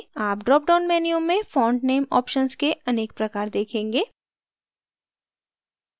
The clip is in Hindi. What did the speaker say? आप drop down menu में font नेम options के अनेक प्रकार देखेंगे